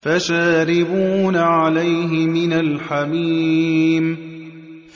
فَشَارِبُونَ عَلَيْهِ مِنَ الْحَمِيمِ